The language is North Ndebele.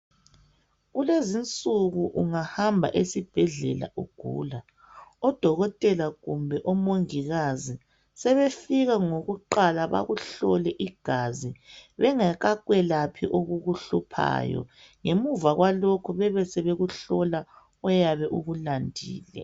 Kulezinsuku ungahamba esibhedlela ugula odokotela kumbe omongikazi sebeqala ngokuhlola igazi bengaka kwelaphi okukuhluphayo ngemva kwalokho bayakuhlola oyabe ukulandile